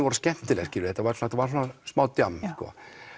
voru skemmtileg þetta var var svona smá djamm sko